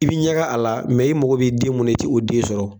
I bɛ ɲɛgɛ a la, i mako b'i den mun na i tɛ o den sɔrɔ.